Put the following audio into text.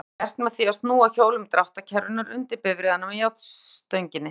Það sé gert með því að snúa hjólum dráttarkerrunnar undir bifreiðina með járnstönginni.